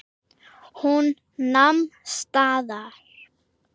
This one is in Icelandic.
Hún nam staðar.